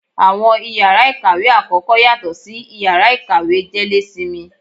Awọn ìyára ikáwe akọkọ, yatọ si ìyára ikáwe jelésímí.